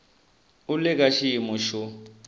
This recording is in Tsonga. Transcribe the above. u le ka xiyimo xo